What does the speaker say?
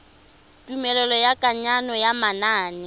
tumelelo ya kananyo ya manane